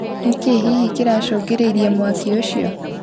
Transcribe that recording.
Nĩkĩ hihi kĩracũngĩrĩirie mwaki ũcio?